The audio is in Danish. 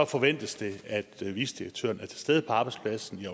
forventes det at vicedirektøren er til stede på arbejdspladsen i